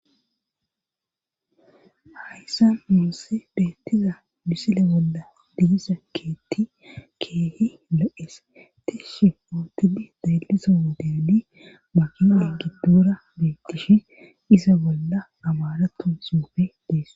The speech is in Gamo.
hayssan nussi beettiza bmisile bolla diza keetti keehi lo7ees tishshe oootidi dayllisa wodedi makine giddura biittishi iza bolla amaratu suufe dees